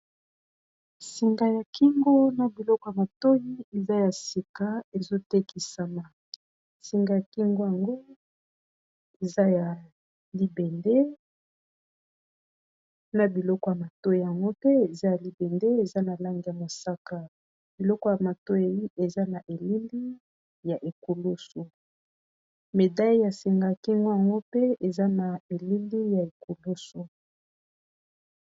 Singa ya kingo na biloko ya matoyi eza ya sika ezotékisama. Singa kingo yango eza ya libende na biloko ya matoyi yango mpe eza ya libende eza na langi ya mosaka biloko ya matoyi eza na élili ya ékulusu médaille ya singa ya kingo yango mpe eza na elili ya ékulusu.